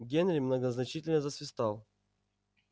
генри многозначительно засвистал